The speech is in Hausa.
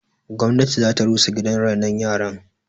Gwamnati zata rusa gidan rainon yaran